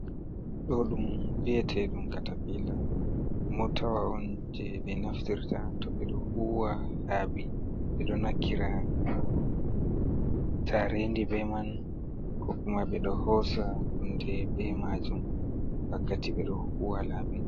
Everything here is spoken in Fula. Ɗo ɗum vi'ateɗum katapila motawa on jei ɓe naftirta toh ɓeɗo huwa laabi ɓedo nokkira jarendi bei man koh kuma ɓeɗo hosa hunde bei majum wakkati ɓeɗo huwa laabi.